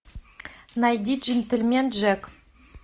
найди джентельмен джек